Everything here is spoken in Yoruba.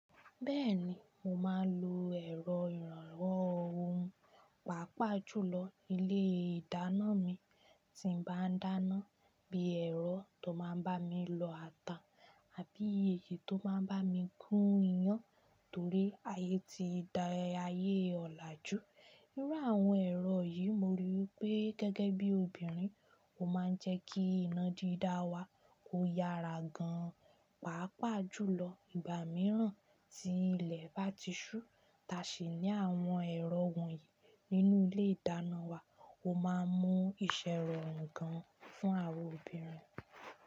Bẹ́ẹ̀ni, mo máa ń lo ẹ̀rọ ìrànwọ́ ohun, pàápàá jùlọ ní ilé-ìdáná mi tí ń bá dáná, bíi ẹ̀rọ tó máa ń bá mi lọ ata àbí èyí tó máa ń bá mi gún iyán torí ayé ti da ayé ọ̀laju. Nínú àwọn ẹ̀rọ yìí mo ríi pé gẹ́gẹ́ bí obìnrin, ó máa ń jẹ́ kí iná dídá wa k'o yára gan, pàápàá jùlọ ìgbà mìíràn tí ilẹ̀ bá ti ṣú. Ta ṣè ní àwọn ẹ̀rọ wọ̀nyí nínú ilé-ìdáná wa ó máa ń mú ìṣẹ́ rọrùn gan fún àwa obìnrin.